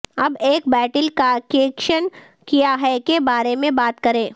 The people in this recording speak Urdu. اب ایک بیٹل کاکیشین کیا ہے کے بارے میں بات کریں